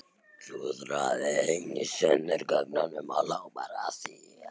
Klúðraði einu sönnunargögnunum og hló bara að því!